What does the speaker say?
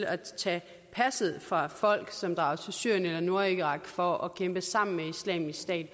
at tage passet fra folk som drager til syrien eller nordirak for at kæmpe sammen med islamisk stat